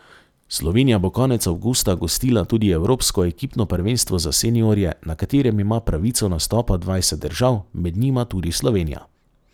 Slovenija bo konec avgusta gostila tudi evropsko ekipno prvenstvo za seniorje, na katerem ima pravico nastopa dvajset držav, med njima tudi Slovenija.